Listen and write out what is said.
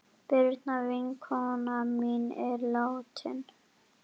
Birna vinkona mín er látin.